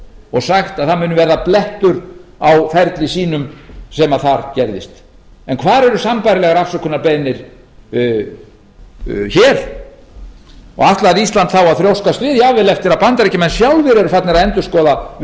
og sagt að það muni verða blettur á ferli sínum sem þar gerðist hvar eru sambærilegar afsökunarbeiðni hér ætlar ísland þá að þrjóskast við jafnvel eftir að bandaríkjamenn sjálfir eru farnir að